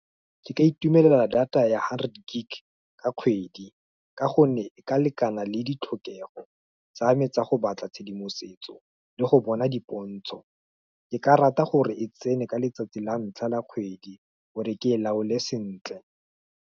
Ke ka itumelela data ya hundred gig ka kgwedi, ka gonne e ka lekana le ditlhokego tsa me tsa go batla tshedimosetso le go bona dipontsho. Ke ka rata gore e tsene ka letsatsi la ntlha la kgwedi gore ke e laole sentle.